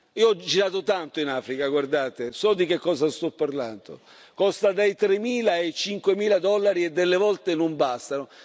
Io ho girato tanto in Africa, so di che cosa sto parlando costa dai tremila ai cinquemila dollari, e delle volte non bastano.